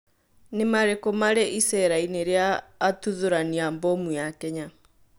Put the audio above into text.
Nĩ marĩkũ marĩ icera-inĩ rĩa atũthorani a mbomũ ya Kenya